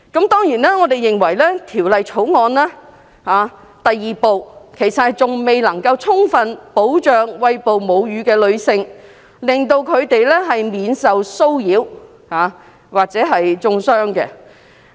當然，我們認為《條例草案》第2部其實仍未充分保障餵哺母乳的女性，令她們免受騷擾或中傷。